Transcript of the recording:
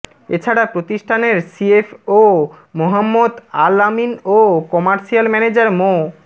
এছাড়া প্রতিষ্ঠানের সিএফও মোহাম্মদ আল আমিন ও কমার্সিয়াল ম্যানেজার মো